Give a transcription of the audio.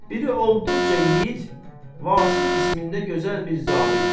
Biri olduqca yiğit, Vasif ismində gözəl bir zabit.